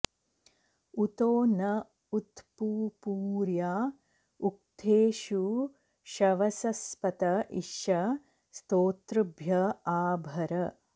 उ॒तो न॒ उत्पु॑पूर्या उ॒क्थेषु॑ शवसस्पत॒ इषं॑ स्तो॒तृभ्य॒ आ भ॑र